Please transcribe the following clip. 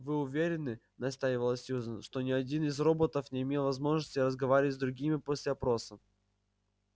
вы уверены настаивала сьюзен что ни один из роботов не имел возможности разговаривать с другими после опроса